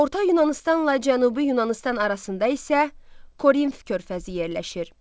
Orta Yunanıstanla Cənubi Yunanıstan arasında isə Korinf körfəzi yerləşir.